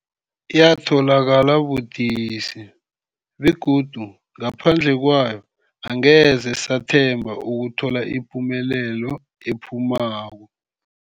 Yatholakala budisi, begodu ngaphandle kwayo angeze sathemba ukuthola ipumelelo ephumako.